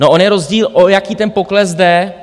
No on je rozdíl, o jaký ten pokles jde.